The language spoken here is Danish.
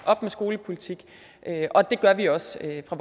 op med skolepolitik og det gør vi også fra